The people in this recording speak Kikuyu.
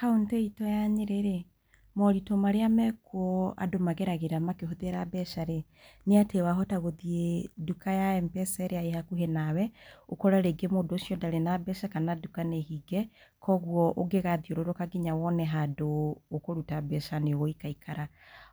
Kauntĩ itũ ya Nyĩrĩ- rĩ, moritũ marĩa makuo andũ mageragĩra makĩhũthĩra mbeca- rĩ, nĩ atĩ wahota gũthiĩ nduka ya M-pesa ĩrĩa ĩhakuhĩ nawe, ũkore mũndũ ũcio ndarĩ na mbeca kana nduka nĩhinge, kũoguo ũngĩgathiũrũrũka nginya wone handũ ũkũruta mbeca nĩũgũikarakara.